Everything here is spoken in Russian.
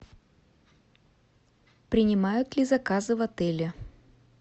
принимают ли заказы в отеле